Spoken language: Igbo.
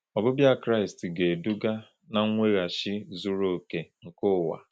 Ọbịbịa Kraịst ga-eduga na mweghachi zuru oke nke ụwa.